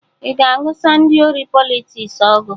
Ị ga-anụsa ndị ori Politiks ọgụ?